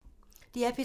DR P3